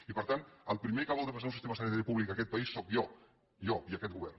i per tant el primer que vol defensar un sistema sanitari públic en aquest país sóc jo jo i aquest govern